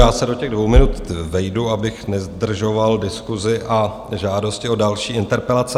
Já se do těch dvou minut vejdu, abych nezdržoval diskusi a žádosti o další interpelace.